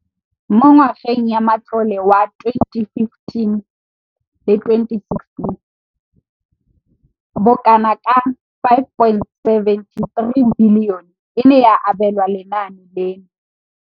Mo ngwageng wa matlole wa 2015,16, bokanaka R5 703 bilione e ne ya abelwa lenaane leno.